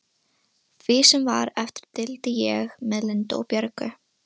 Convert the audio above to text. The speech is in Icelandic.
Því sem var eftir deildi ég með Lindu og Björgu.